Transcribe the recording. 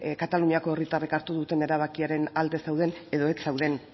kataluniako herritarrek hartu duten erabakiaren alde zauden edo ez zauden